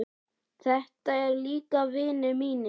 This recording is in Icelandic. Þetta eru líka vinir mínir.